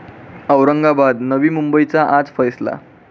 औरंगाबाद, नवी मुंबईचा आज फैसला